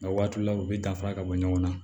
Nka waati la u bɛ danfara ka bɔ ɲɔgɔn na